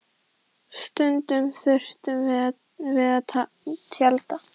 Stundum þurftum við að tjalda.